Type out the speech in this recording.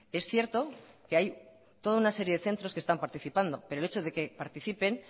es cierto que hay toda una serie de centros que están participando pero el hecho de que participen